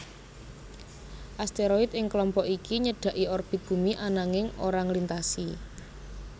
Asteroid ing kelompok iki nyedhaki orbit Bumi ananging ora nglintasi